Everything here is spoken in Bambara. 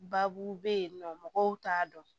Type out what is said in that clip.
Baabu be yen nɔ mɔgɔw t'a dɔn